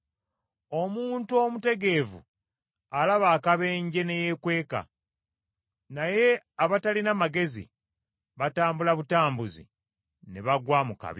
Omuntu omutegeevu alaba akabenje ne yeekweka, naye abatalina magezi batambula butambuzi ne bagwa mu kabi.